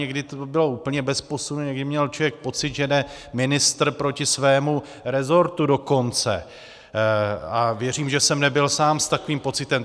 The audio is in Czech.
Někdy to bylo úplně bez posunu, někdy měl člověk pocit, že jde ministr proti svému rezortu dokonce, a věřím, že jsem nebyl sám s takovým pocitem.